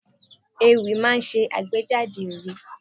Ewì máa ń ṣe àgbéjáde òye.